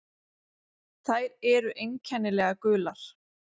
Þær eru einkennilega gular.